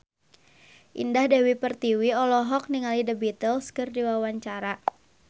Indah Dewi Pertiwi olohok ningali The Beatles keur diwawancara